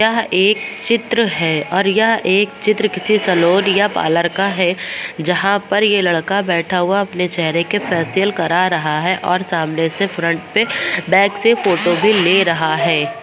यह एक चित्र है और यह एक चित्र किसी सैलून या पार्लर का है जहाँ पर ये लड़का बैठा हुआ अपने चहरे के फेसियल करा रहा है और सामने से फ्रंट पे बैक से फोटो ले भी रहा है।